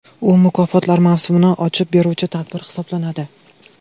U mukofotlar mavsumini ochib beruvchi tadbir hisoblanadi.